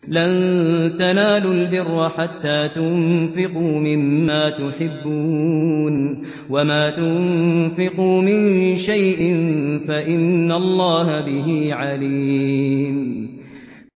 لَن تَنَالُوا الْبِرَّ حَتَّىٰ تُنفِقُوا مِمَّا تُحِبُّونَ ۚ وَمَا تُنفِقُوا مِن شَيْءٍ فَإِنَّ اللَّهَ بِهِ عَلِيمٌ